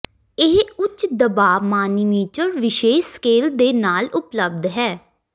ਇਹ ਉੱਚ ਦਬਾਅ ਮਾਨੀਮੀਟਰ ਵਿਸ਼ੇਸ਼ ਸਕੇਲ ਦੇ ਨਾਲ ਉਪਲਬਧ ਹੈ